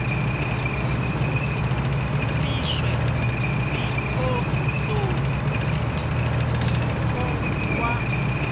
hu shumiswe dzikhondomu mutsiko wa